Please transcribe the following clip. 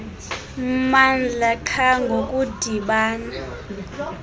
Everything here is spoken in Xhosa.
mmandla qha ngokudibana